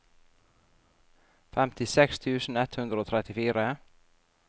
femtiseks tusen ett hundre og trettifire